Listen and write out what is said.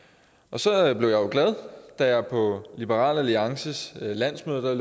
så jeg blev jo glad da jeg på liberal alliances landsmøde